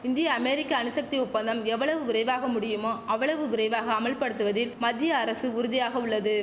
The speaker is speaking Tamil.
இந்திய அமேரிக்க அணுசக்தி ஒப்பந்தம் எவ்வளவு விரைவாக முடியுமோ அவ்வளவு விரைவாக அமல்படுத்துவதில் மத்திய அரசு உறுதியாக உள்ளது